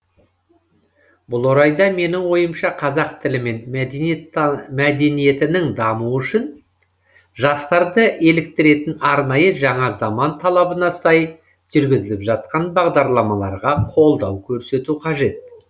бұл орайда менің ойымша қазақ тілі мен мәдениетінің дамуы үшін жастарды еліктіретін арнайы жаңа заман талабына сай жүргізіліп жатқан бағдарламаларға қолдау көрсету қажет